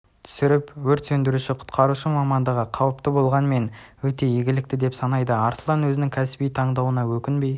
түсіріп өрт сөндіруші-құтқарушы мамндығы қауіпті болғанмен өте игілікті деп санайды арслан өзінің кәсіби таңдауына өкінбей